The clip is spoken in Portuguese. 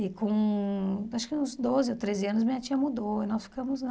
E com, acho que uns doze ou treze anos, minha tia mudou e nós ficamos lá.